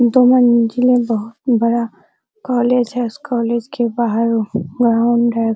दो मंजिले बहुत बड़ा कॉलेज है उस कॉलेज के बाहर ग्राउंड है।